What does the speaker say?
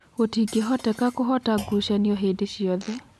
"Gũtingĩhoteka kũhota ngucanio hĩndĩ cĩothe.